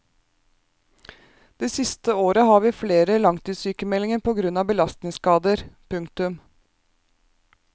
Det siste året har vi flere langtidssykemeldinger på grunn av belastningsskader. punktum